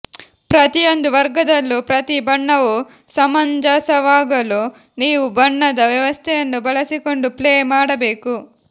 ಪ್ರತಿಯೊಂದು ವರ್ಗದಲ್ಲೂ ಪ್ರತಿ ಬಣ್ಣವೂ ಸಮಂಜಸವಾಗಲು ನೀವು ಬಣ್ಣದ ವ್ಯವಸ್ಥೆಯನ್ನು ಬಳಸಿಕೊಂಡು ಪ್ಲೇ ಮಾಡಬೇಕು